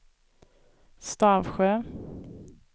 Stavsjö